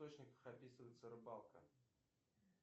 источниках описывается рыбалка